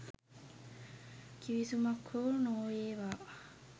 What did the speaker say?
කිවිසුමක් හෝ නොඒවා.